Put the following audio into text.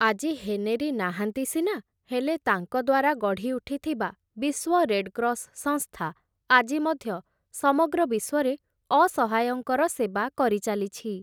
ଆଜି ହେନେରୀ ନାହାଁନ୍ତି ସିନା, ହେଲେ ତାଙ୍କ ଦ୍ୱାରା ଗଢ଼ି ଉଠିଥିବା ବିଶ୍ୱ ରେଡ଼କ୍ରସ୍ ସଂସ୍ଥା ଆଜି ମଧ୍ୟ ସମଗ୍ର ବିଶ୍ୱରେ ଅସହାୟଙ୍କର ସେବା କରିଚାଲିଛି ।